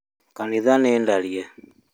Kanitha nĩ tharie